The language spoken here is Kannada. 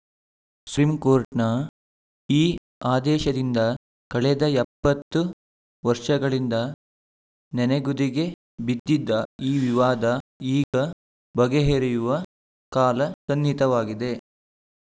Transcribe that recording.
ಸುಪ್ರೀಂ ಕೋರ್ಟ್‌ನ ಈ ಆದೇಶದಿಂದ ಕಳೆದ ಎಪ್ಪತ್ತು ವರ್ಷಗಳಿಂದ ನೆನೆಗುದಿಗೆ ಬಿದ್ದಿದ್ದ ಈ ವಿವಾದ ಈಗ ಬಗೆಹರಿಯುವ ಕಾಲ ಸನ್ನಿಹಿತವಾಗಿದೆ